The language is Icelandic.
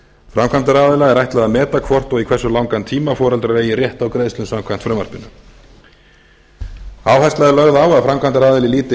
framkvæmdaraðila er ætlað að meta hvort og í hversu langan eiga foreldrar eigi rétt á greiðslum samkvæmt frumvarpinu áhersla er lögð á að framkvæmdaraðili líti